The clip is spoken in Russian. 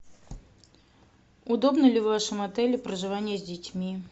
удобно ли в вашем отеле проживание с детьми